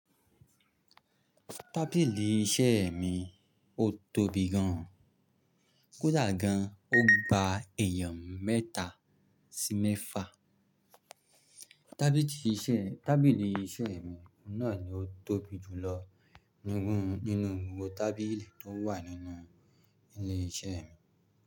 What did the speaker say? Tábìlì iṣẹ́ mi ò tóbi gan an. Kódà gan an, ó gba èèyàn mẹ́ta sí mẹ́fa. Tábìlì iṣẹ́ mi náà ni ó tóbi jù lọ nínú gbogbo tábìlì tó wà nínú ilé iṣẹ́ mi.